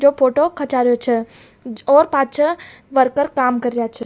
जो फोटो खंचा रेहो छे और पाछे वर्कर काम कर रिया छे।